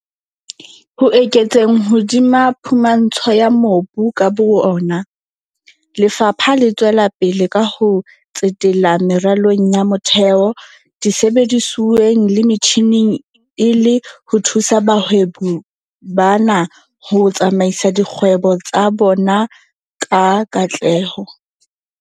Ho eketseng hodima phumantsho ya mobu ka bo yona, lefapha le tswela pele ka ho tsetela meralong ya motheo, disebedisuweng le metjhineng e le ho thusa bahwebi bana ho tsamaisa dikgwebo tsa bona ka katleho.